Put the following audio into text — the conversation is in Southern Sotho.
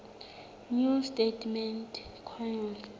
new testament canon